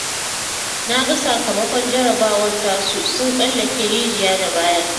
Na ga sakamakon jarrabawar tasu sun tsallake rijiya da baya